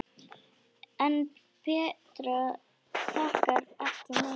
En Petra þakkar ekki neinum.